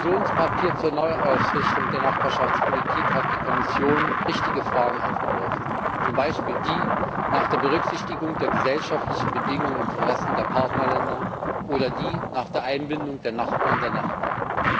Mit ihrem Diskussionspapier zur Neuausrichtung der Nachbarschaftspolitik hat die Kommission richtige Fragen aufgeworfen, zum Beispiel die nach der Berücksichtigung der gesellschaftlichen Bedingungen und Interessen der Partnerländer oder die nach der Einbindung der Nachbarn der Nachbarn.